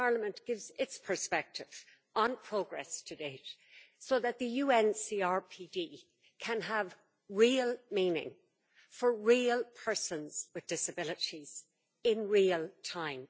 Parliament gives its perspective on progress to date so that the UN CRPD you can have real meaning for real persons with disabilities, in real time.